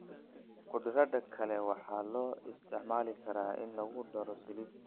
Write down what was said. Khudradda kale waxaa loo isticmaali karaa in lagu daro saladi.